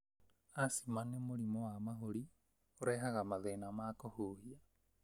Asima nĩ mũrimũ wa mahũri ũrehaga mathĩna ma kũhuhia.